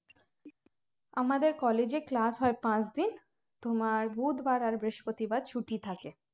আমাদের college এ class হয় পাঁচ দিন তোমার বুধ বার আর বৃহস্পতি বার ছুটি থাকে